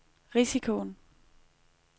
risikoen